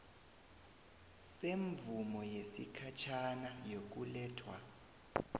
semvumo yesikhatjhana yokulethwa